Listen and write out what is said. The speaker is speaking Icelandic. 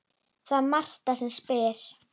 Það er Marta sem spyr.